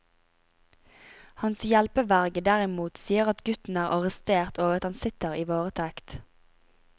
Hans hjelpeverge derimot sier at gutten er arrestert og at han sitter i varetekt.